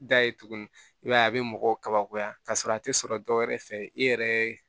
Da ye tuguni i b'a ye a bɛ mɔgɔw kabakoya ka sɔrɔ a tɛ sɔrɔ dɔwɛrɛ fɛ i yɛrɛ